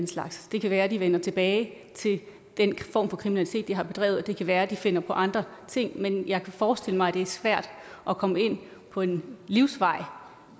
slags det kan være at de vender tilbage til den form for kriminalitet de har bedrevet og det kan være at de finder på andre ting men jeg kan forestille mig at det er svært at komme ind på en livsvej